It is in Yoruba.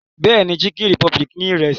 Bẹ́ẹ̀ni, Chicken republic ní Ìrẹ́sì